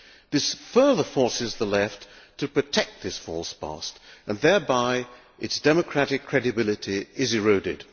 This further forces the Left to protect this false past and thereby its democratic credibility is eroded.